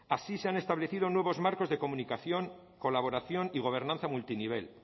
así se han establecido nuevos marcos de comunicación colaboración y gobernanza multinivel